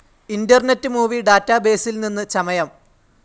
internet movie ഡാറ്റാബേസിൽ നിന്ന് ചമയം